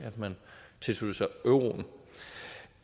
at man tilsluttede sig euroen